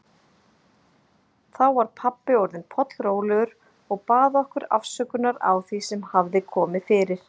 Þá var pabbi orðinn pollrólegur og bað okkur afsökunar á því sem hafði komið fyrir.